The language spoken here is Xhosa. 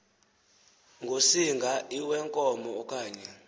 ngosinga iwenkomo okanye